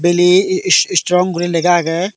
valley is stron guri lega agey.